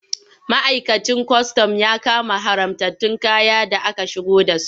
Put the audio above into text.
Ma'aikacin kwastam ya kama haramtattun kaya da aka shigo da su.